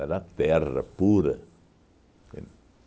Era terra pura, entende?